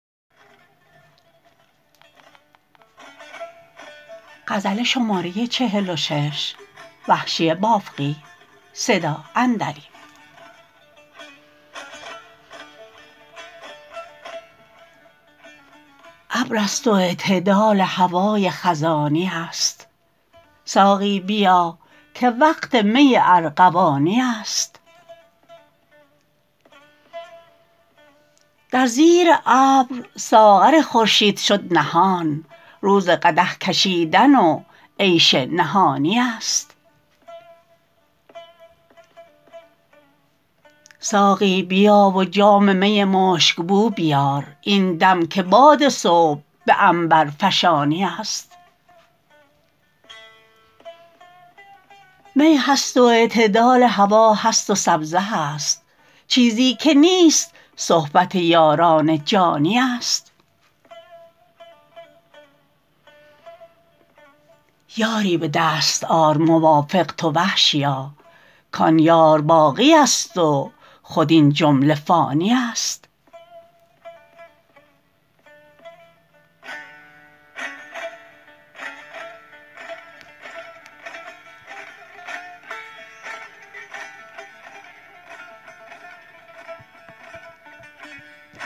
ابر است و اعتدال هوای خزانی است ساقی بیا که وقت می ارغوانی است در زیر ابر ساغر خورشید شد نهان روز قدح کشیدن و عیش نهانی است ساقی بیا و جام می مشکبو بیار این دم که باد صبح به عنبر فشانی است می هست و اعتدال هوا هست و سبزه هست چیزی که نیست صحبت یاران جانی است یاری به دست آر موافق تو وحشیا کان یار باقی است و خود این جمله فانی است